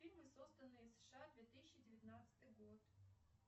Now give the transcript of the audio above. фильмы созданные в сша две тысячи девятнадцатый год